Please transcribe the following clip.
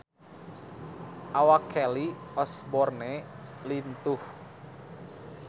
Awak Kelly Osbourne lintuh